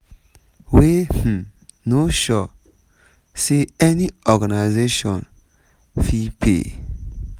wey um no sure say any organisation fit pay.